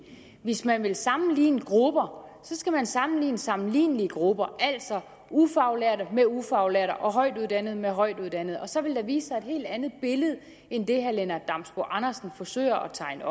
hvis man vil sammenligne grupper skal man sammenligne sammenlignelige grupper altså ufaglærte med ufaglærte og højtuddannede med højtuddannede og så vil der vise sig et helt andet billede end det herre lennart damsbo andersen forsøger at tegne